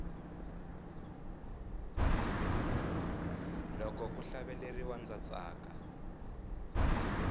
loko ku hlaveleriwa ndza tsaka